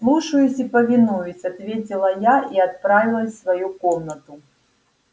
слушаюсь и повинуюсь ответила я и отправилась в свою комнату